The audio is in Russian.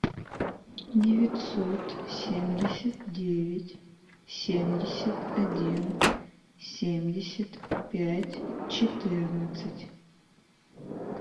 девятьсот семьдесят девять семьдесят один семьдесят пять четырнадцать